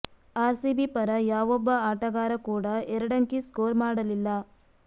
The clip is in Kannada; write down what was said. ಅರ್ ಸಿಬಿ ಪರ ಯಾವೊಬ್ಬ ಆಟಗಾರ ಕೂಡಾ ಎರಡಂಕಿ ಸ್ಕೋರ್ ಮಾಡಲಿಲ್ಲ